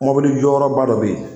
Mobili jɔyɔrɔba dɔ bɛ ye.